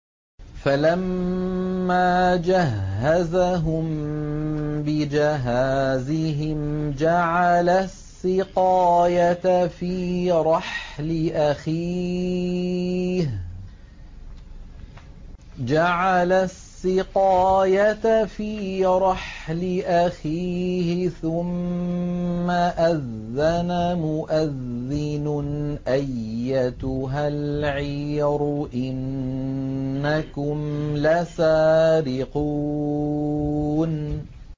فَلَمَّا جَهَّزَهُم بِجَهَازِهِمْ جَعَلَ السِّقَايَةَ فِي رَحْلِ أَخِيهِ ثُمَّ أَذَّنَ مُؤَذِّنٌ أَيَّتُهَا الْعِيرُ إِنَّكُمْ لَسَارِقُونَ